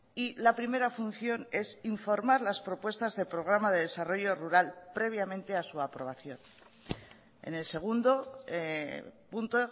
y la primera función es informar las propuestas de programa de desarrollo rural previamente a su aprobación en el segundo punto